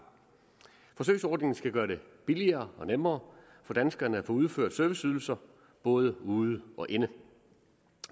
forsøgsordningen skal gøre det billigere og nemmere for danskerne at få udført serviceydelser både ude og inde